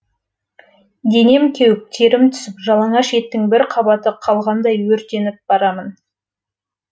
денем кеуіп терім түсіп жалаңаш еттің бір қабаты қалғандай өртеніп барамын